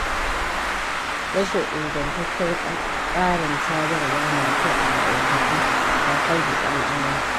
Rashin ingantaccen tsarin sadarwa mai kyau a ma'aikatu, kan hargitsa al'amura.